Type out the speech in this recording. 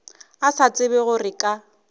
a sa tsebe gore ka